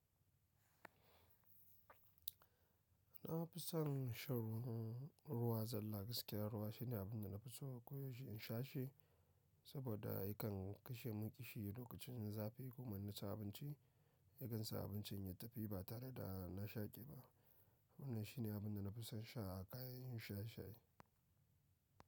Na fi son shan ruwan zalla gaskiya ruwa shine abin da na fi so koyaushe in sha shi saboda yakan kashe mun ƙishi lokacin zafi kuma nan da sa abinci yakan sa abincin ya tafi ba tare da na shaƙe ba. Wannan shine abin da na fi son sha a kayayyakin sha shayi.